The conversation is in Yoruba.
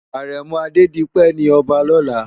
Arèmò Adedipe ni òbá lòlá